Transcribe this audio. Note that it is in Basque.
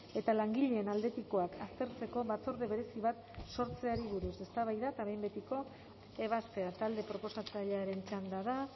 eta langileen aldetikoak aztertzeko batzorde berezi bat sortzeari buruz eztabaida eta behin betiko ebazpena talde proposatzailearen txanda da